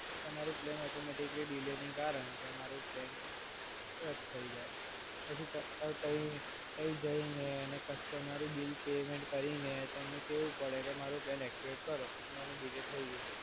તો તમારું plan automatically delay ને કારણે તમારું પ્લાન રદ થય જાય. પછી ત્યાં જઈને અને કસ્ટમર બિલ પેમેન્ટ કરીને તમને કહવું પડે કે મારુ પ્લાન એક્ટિવેટ કરો, મારે ડીલે થય ગયું છે.